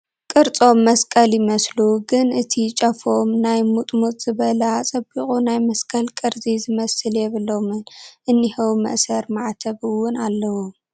ቕርፆም መስቐል ይመስቱ ግን እቲ ጫፎም ናይ ሙጥሙጥ ዝበለ ኣፀቢቑ ናይ መስቐል ቕርፂ ዝመስል የብሎምን እንሄዉ መእሰሪ ማዕተብ እውን ኣለዎም ።